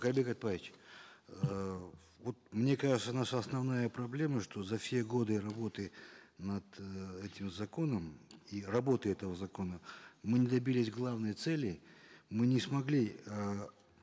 каирбек айтбаевич эээ вот мне кажется наша основная проблема что за все годы работы над э этим законом и работы этого закона мы не добились главной цели мы не смогли э